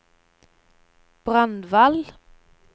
Brandval